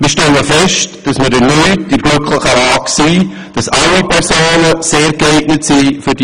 Wir stellen fest, dass wir erneut in der glücklichen Lage sind, dass sich alle zur Auswahl stehenden Personen sehr gut eignen.